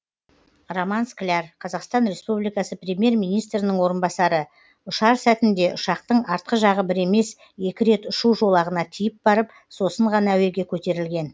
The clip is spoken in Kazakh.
роман скляр қазақстан республикасы премьер министрінің орынбасары ұшар сәтінде ұшақтың артқы жағы бір емес екі рет ұшу жолағына тиіп барып сосын ғана әуеге көтерілген